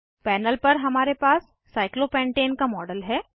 panel पर हमारे पास साइक्लोपेंटेन का मॉडल है